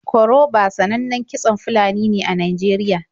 Koroba sanannan kitson Fulani ne a Najeriya.